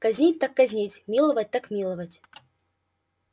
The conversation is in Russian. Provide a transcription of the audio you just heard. казнить так казнить миловать так миловать